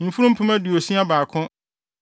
mfurum mpem aduosia baako (61,000);